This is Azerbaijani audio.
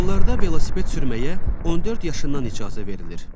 Yollarda velosiped sürməyə 14 yaşından icazə verilir.